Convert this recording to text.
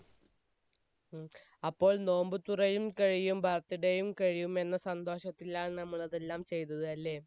ഉം അപ്പോൾ നോമ്പ് തുറയും കഴിയും birthday യും കഴിയും എന്ന സന്തോഷത്തിലാണ് നമ്മൾ അതെല്ലാം ചെയ്തത് അല്ലെ